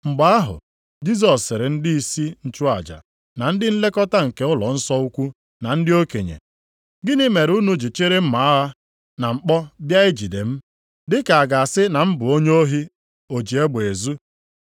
Mgbe ahụ, Jisọs sịrị ndịisi nchụaja, na ndị nlekọta nke ụlọnsọ ukwu na ndị okenye, “Gịnị mere unu ji chịrị mma agha na mkpọ bịa ijide m, dị ka a ga-asị na m bụ onye ohi o ji egbe ezu?